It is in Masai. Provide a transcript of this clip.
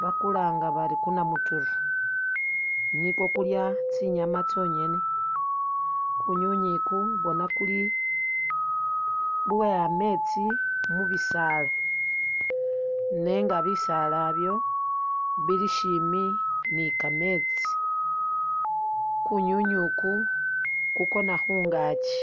bakulanga bari kunamutiru nikwo kulya tsinyama tsonyene, kunywinywi uku bona kuli lwe ametsi mubisaala nenga bisaala ibyo bili shimbi nikametsi, kunywinywi iki kukona khungakyi.